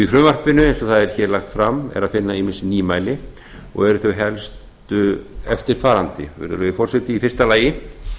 í frumvarpinu eins og það er hér lagt fram er að finna ýmis nýmæli og eru þau helstu eftirfarandi virðulegi forseti í fyrsta lagi